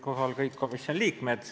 Kohal olid kõik komisjoni liikmed.